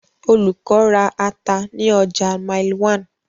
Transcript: Olùkọ́ ra ata ní ọjà Mile 1.